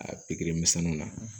A pikiri misɛnninw na